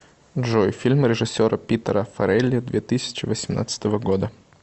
джой фильм режиссера питера фарелли две тысячи восемнадцатого года